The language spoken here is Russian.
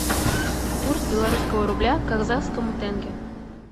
курс белорусского рубля к казахскому тенге